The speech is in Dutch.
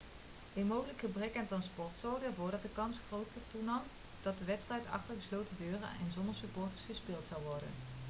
een mogelijk gebrek aan transport zorgde ervoor dat de kans groter toenam dat de wedstrijd achter gesloten deuren en zonder supporters gespeeld zou worden